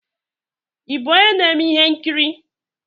Ị bụ onye na-eme ihe nkiri?